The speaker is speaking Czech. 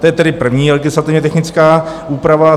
To je tedy první legislativně technická úprava.